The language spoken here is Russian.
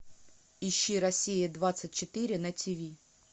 ищи россия двадцать четыре на ти ви